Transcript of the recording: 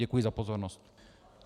Děkuji za pozornost.